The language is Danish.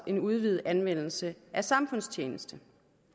en udvidet anvendelse af samfundstjeneste